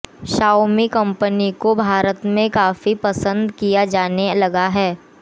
Xiaomi company को भारत में काफी पसंद किया जाने लगा है